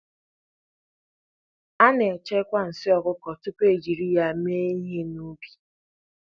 A na-echekwa nsị ọkụkọ tupu e jiri ya mee ịhe n'ubi.